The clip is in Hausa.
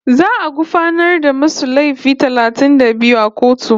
Za'a gurfanar da masu laifi talatin da biyu a kotu